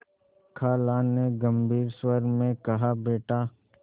खाला ने गम्भीर स्वर में कहाबेटा